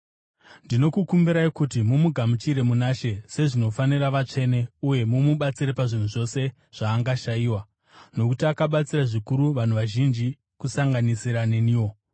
Ndinokukumbirai kuti mumugamuchire muna She sezvinofanira vatsvene uye mumubatsire pazvinhu zvose zvaangashayiwa, nokuti akabatsira zvikuru vanhu vazhinji, kusanganisira neniwo.